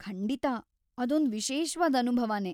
ಖಂಡಿತ ಅದೊಂದ್‌ ವಿಶೇಷ್ವಾದ್ ಅನುಭವನೇ.